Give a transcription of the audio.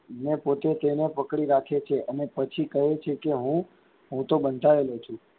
ને પોતે તેને પકડી રાખે છે અને પછી કહે છે કે હું, હું તો બંધાયેલો છું.